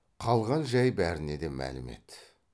қалған жай бәріне де мәлім еді